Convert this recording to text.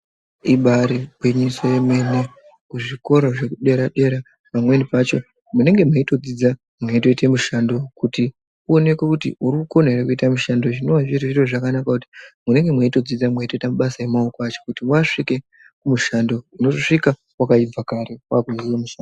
Ibaari gwinyiso yemene, kuzvikora zvekudera-dera pamweni pacho munenge meitodzidza meitoite mushando, kuti uoneke kuti urikukona ere kuita mushando, zvinoa zviri zviro zvakanaka kuti munenge meitodzidza mweitoita mabasa emaoko acho, kuti wasvike kumushando unosvika wakaibva kare wagume kumushando.